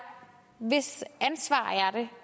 hvis ansvar